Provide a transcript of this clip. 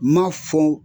M'a fɔ